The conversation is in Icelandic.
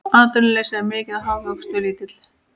Atvinnuleysi er mikið og hagvöxtur lítill